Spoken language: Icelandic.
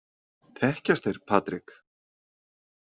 Þekkjast þeir Patrik?